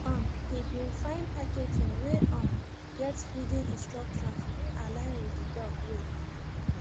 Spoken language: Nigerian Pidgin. um he been fine packaging wey um get feeding instructions wey align with he dog weight